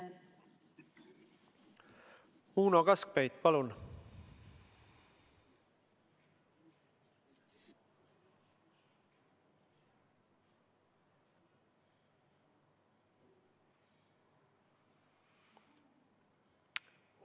Uno Kaskpeit, palun!